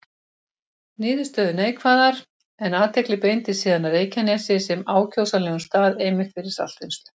Niðurstöður neikvæðar, en athygli beindist síðan að Reykjanesi sem ákjósanlegum stað einmitt fyrir saltvinnslu.